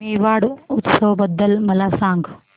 मेवाड उत्सव बद्दल मला सांग